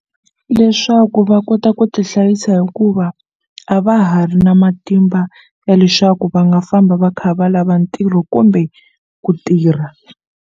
Leswaku va kota ku tihlayisa hikuva a va ha ri na matimba ya leswaku va nga famba va kha va lava ntirho kumbe ku tirha.